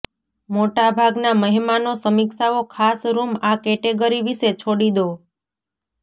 મોટા ભાગના મહેમાનો સમીક્ષાઓ ખાસ રૂમ આ કેટેગરી વિશે છોડી દો